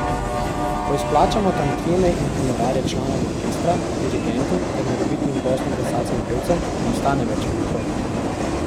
Ko izplačamo tantieme in honorarje članom orkestra, dirigentu ter morebitnim gostom plesalcem in pevcem, ne ostane več veliko.